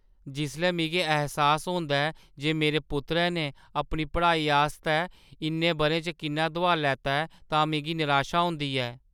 जिसलै मिगी ऐह्सास होंदा ऐ जे मेरे पुत्तरै ने अपनी पढ़ाई आस्तै इन्ने बʼरें च किन्ना दुहार लैता ऐ तां मिगी निराशा दा होंदी ऐ।